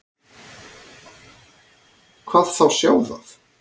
Hvað þá sjá það.